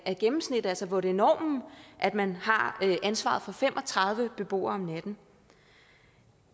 gennemsnit altså hvor det er normen at man har ansvaret for fem og tredive beboere om natten